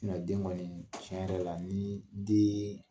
den kɔni tiɲɛ yɛrɛ la ni den